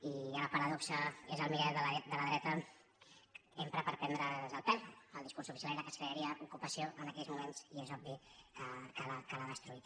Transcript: i ja la paradoxa és el mirall de la dreta l’empra per prendre’ns el pèl el dis·curs oficial era que es crearia ocupació en aquells mo·ments i és obvi que l’ha destruït